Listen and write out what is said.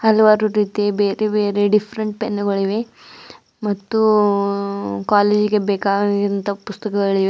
ಹಲವಾರು ರೀತಿ ಬೇರೆ ಬೇರೆ ಡಿಫರೆಂಟ್ ಪೆನ್ನುಗಳಿವೆ ಮತ್ತು ಕಾಲೇಜಿಗೆ ಬೇಕಾಗಿದ್ದ ಪುಸ್ತಕಗಳಿವೆ.